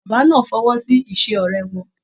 Bàbá náà fọwọsi ise ọrẹ wọn.